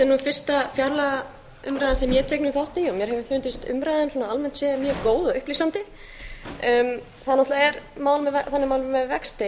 er nú fyrsta fjárlagaumræða sem ég tek þátt í mér hefur fundist umræðan almennt séð mjög góð og upplýsandi það náttúrlega þannig mál með vexti